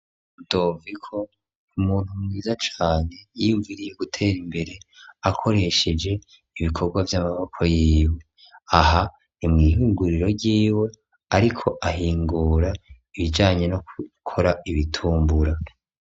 Rudoviko n'umuntu mwiza cane yiyumviriye gutera imbere akoresheje ibikorwa vy'amaboko yiwe ,aha ni mw'ihinguriro ryiwe ariko ahingura ibijanye no gukora ibitumbura.